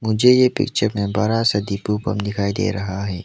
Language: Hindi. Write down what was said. मुझे ये पिक्चर ने बड़ा सा दिपो पंप दिखाई दे रहा है।